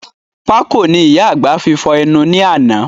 Pákò ni ìyá àgbà fi fọ̀ ẹnu ni àná